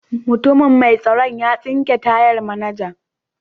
Mutumin mai tsaron ya tsinke tayan manajan.